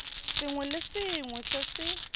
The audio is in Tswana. sengwe le sengwe se se